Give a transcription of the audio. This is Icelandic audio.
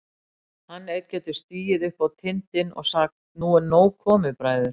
Hann einn getur stigið upp á tindinn og sagt: Nú er nóg komið, bræður!